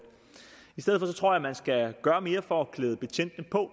i stedet for tror jeg at man skal gøre mere for at klæde betjentene på